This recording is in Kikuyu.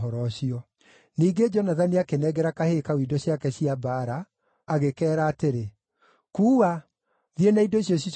Ningĩ Jonathani akĩnengera kahĩĩ kau indo ciake cia mbaara, agĩkeera atĩrĩ, “Kuua, thiĩ na indo ici ũcicookie itũũra-inĩ.”